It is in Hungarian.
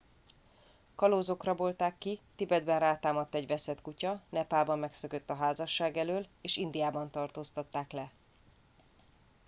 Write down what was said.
kalózok rabolták ki tibetben rátámadt egy veszett kutya nepálban megszökött a házasság elől és indiában tartóztatták le